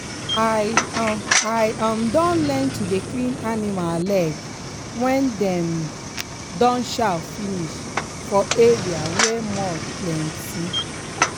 i um i um don learn to dey clean animal leg when dem um don chow finish for area wey mud plenty.